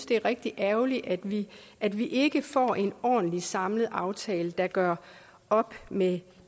det er rigtig ærgerligt at vi at vi ikke får en ordentlig samlet aftale der gør op med